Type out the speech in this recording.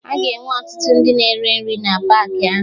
Aga enwe ọtụtụ ndị na-ere nri na paakị ahụ